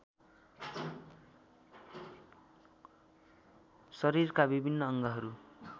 शरीरका विभिन्न अङ्गहरू